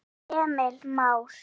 Þinn Emil Már.